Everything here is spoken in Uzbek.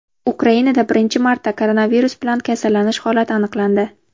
Ukrainada birinchi marta koronavirus bilan kasallanish holati aniqlandi.